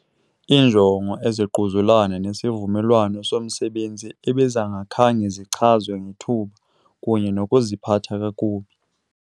Iinjongo ezingquzulana nesivumelwano somsebenzi ebezingakhange zichazwe ngethuba, kunye Nokuziphatha kakubi.